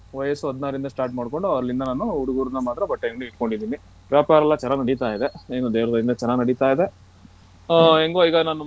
ವಯಸ್ಸು ಹದ್ನಾರಿಂದ start ಮಾಡ್ಕೊಂಡು ಅಲ್ಲಿಂದ ನಾನು ಹುಡಗುರ್ನ ಮಾತ್ರ ಬಟ್ಟೆ ಅಂಗ್ಡಿ ಇಟ್ಕೊಂದಿನಿ ವ್ಯಾಪಾರ ಎಲ್ಲ ಚೆನ್ನಾಗ್ ನಡೀತಾ ಇದೆ ಏನೂ ದೇವರ ದಯೆಯಿಂದ ಚೆನ್ನಾಗ್ ನಡೀತಾ ಇದೆ ಓ ಎಂಗೋ.